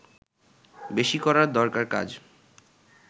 বেশি করা দরকার কাজ